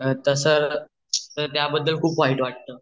त तसा त्या बद्दल खुप वाइट वाटत